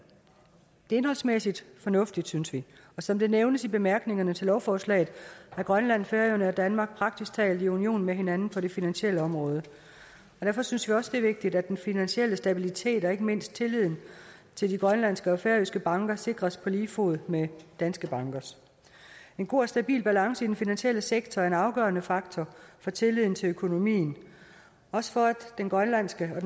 er indholdsmæssigt fornuftigt synes vi og som det nævnes i bemærkningerne til lovforslaget er grønland færøerne og danmark praktisk talt i union med hinanden på det finansielle område derfor synes vi også det er vigtigt at den finansielle stabilitet og ikke mindst tilliden til de grønlandske og færøske banker sikres på lige fod med danske banker en god og stabil balance i den finansielle sektor er en afgørende faktor for tilliden til økonomien også for at den grønlandske og